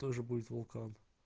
тоже будет вулкан